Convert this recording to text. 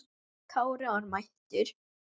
Kári var mættur!